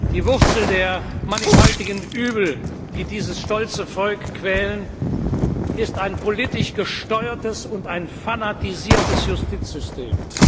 Die Wurzel der mannigfaltigen Übel, die dieses stolze Volk quälen, ist ein politisch gesteuertes und fanatisiertes Justizsystem.